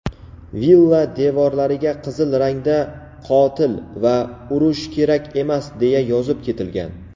villa devorlariga qizil rangda "Qotil" va "Urush kerak emas" deya yozib ketilgan.